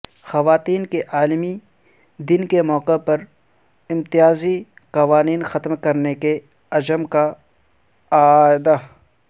خواتین کے عالمی دن کے موقع پرامتیازی قوانین ختم کرنے کے عزم کا اعادہ